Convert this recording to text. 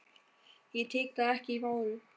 Ég tek það ekki í mál!